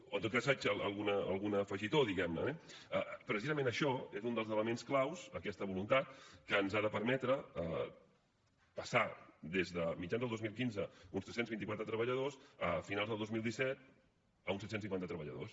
o en tot cas faig algun afegitó eh precisament això és un dels elements clau aquesta voluntat que ens ha de permetre passar des de mitjan del dos mil quinze d’uns tres cents i vint quatre treballadors a finals del dos mil disset a uns set cents i cinquanta treballadors